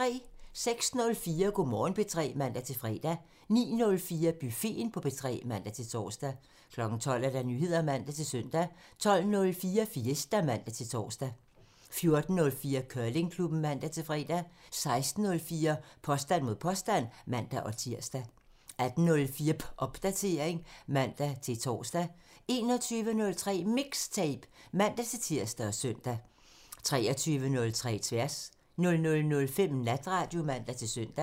06:04: Go' Morgen P3 (man-fre) 09:04: Buffeten på P3 (man-tor) 12:00: Nyheder (man-søn) 12:04: Fiesta (man-tor) 14:04: Curlingklubben (man-fre) 16:04: Påstand mod påstand (man-tir) 18:04: Popdatering (man-tor) 21:03: MIXTAPE (man-tir og søn) 23:03: Tværs (man) 00:05: Natradio (man-søn)